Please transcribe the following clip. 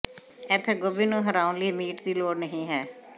ਇੱਥੇ ਗੋਭੀ ਨੂੰ ਹਰਾਉਣ ਲਈ ਮੀਟ ਦੀ ਲੋੜ ਨਹੀਂ ਹੈ